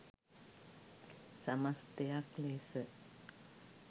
සමස්ථයක් ලෙස